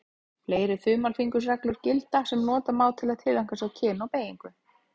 Fleiri þumalfingursreglur gilda sem nota má til að tileinka sér kyn og beygingu.